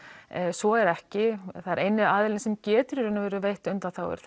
svo er ekki eini aðilinn sem getur í raun og veru veitt undanþágur